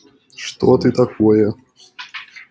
что ты такое